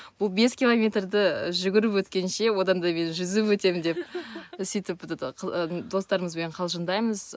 бұл бес километрді жүгіріп өткенше одан да мен жүзіп өтемін деп сөйтіп этот достарымызбен қалжыңдаймыз